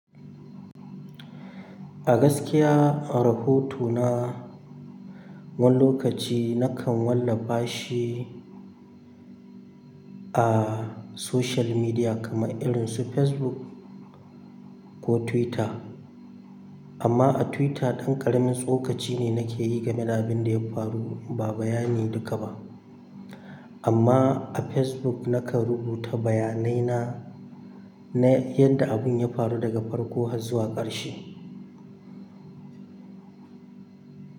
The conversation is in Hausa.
A gaskiya, rahoto na wani lokaci nakan wallafa shi a social media kamar irin su Facebook ko Twitter. Amma a Twitter, ɗan ƙaramin tsokaci ne nake yi game da abin da ya faru, ba bayani duka ba. Amma a Facebook, nakan rubuta bayanai na na yadda abun ya faru daga farko har zuwa ƙarshe.